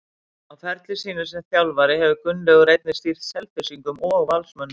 Á ferli sínum sem þjálfari hefur Gunnlaugur einnig stýrt Selfyssingum og Valsmönnum.